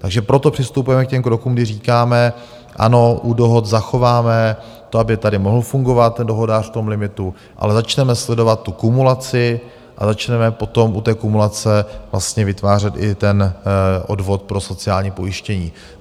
Takže proto přistupujeme k těm krokům, kdy říkáme, ano, u dohod zachováme to, aby tady mohl fungovat ten dohodář v tom limitu, ale začneme sledovat tu kumulaci a začneme potom u té kumulace vlastně vytvářet i ten odvod pro sociální pojištění.